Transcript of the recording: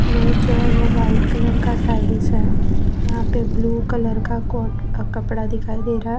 Lower जो है ओ व्हाइट कलर का टाइल्स है यहां पे ब्ल्यू कलर का को कपड़ा दिखाई दे रहा है।